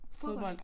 Fodbold